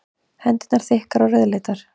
Hendurnar þykkar og rauðleitar.